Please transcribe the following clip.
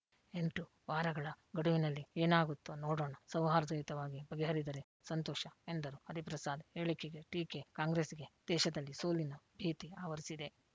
ಎಂಟು ವಾರಗಳ ಗಡುವಿನಲ್ಲಿ ಏನಾಗುತ್ತೊ ನೋಡೋಣ ಸೌಹಾರ್ದಯುತವಾಗಿ ಬಗೆಹರಿದರೆ ಸಂತೋಷ ಎಂದರು ಹರಿಪ್ರಸಾದ್ ಹೇಳಿಕೆಗೆ ಟೀಕೆ ಕಾಂಗ್ರೆಸ್‌ಗೆ ದೇಶದಲ್ಲಿ ಸೋಲಿನ ಭೀತಿ ಆವರಿಸಿದೆ